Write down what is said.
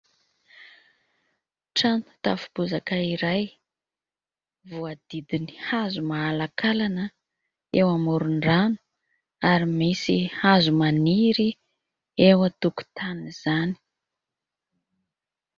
Trano tafo bozaka iray. Voahodidin'ny hazo mahalankalana eo amoron-drano ary misy hazo maniry eo an-tokotanin'izany.